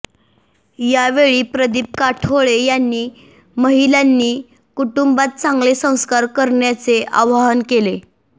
यावेळी प्रदीप काठोळे यांनी महिलांनी कुटुंबात चांगले संस्कार करण्याचे आवाहन केले